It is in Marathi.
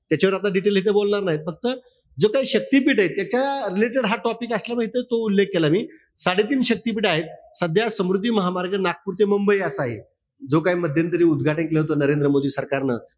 याच्यावर आपल्याला detail इथे बोलणार नाही. पण इथं जो काई शक्तीपीठ ए. त्याच्या related हा topic असल्यामुळे हिथं तो उल्लेख केला मी. साडेतीन शक्तिपीठं आहेत. सध्या समृद्धी महामार्ग नागपूर ते मुंबई असा आहे. जो काही मध्यंतरी उदघाटन केलं होत, नरेंद्र मोदी सरकारनं.